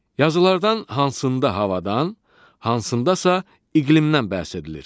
Yazılardan hansında havadan, hansındasa iqlimdən bəhs edilir?